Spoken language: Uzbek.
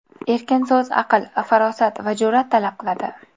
Erkin so‘z aql, farosat va jur’at talab qiladi.